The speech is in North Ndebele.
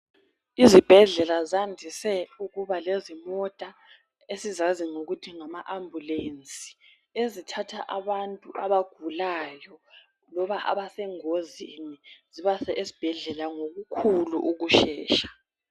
Izibhedlela zandise ukuba lezimota esizazi ngokuthi ngama ambulance ezithatha abantu abagulayo loba abasengozini zibase esibhedlela ngokukhulu ukushesha.